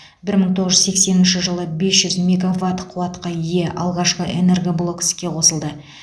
бір мың тоғыз жүз сексенінші жылы бес жүз мегаватт қуатқа ие алғашқы энергоблок іске қосылды